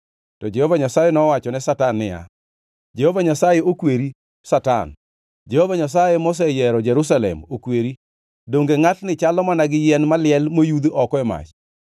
To Jehova Nyasaye nowachone Satan niya, “Jehova Nyasaye okweri, Satan! Jehova Nyasaye moseyiero Jerusalem okweri! Donge ngʼatni chalo mana ka yien maliel moyudh oko e mach?”